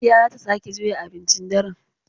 Hajiya za ta sake juya abincin daren.